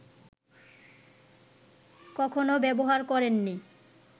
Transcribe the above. কখনো ব্যবহার করেননি